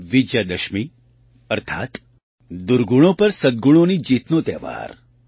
વિજયાદશમી અર્થાત દુર્ગણો પર સદ્ગુણોની જીતનો તહેવાર